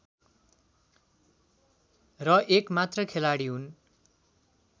र एकमात्र खेलाडी हुन्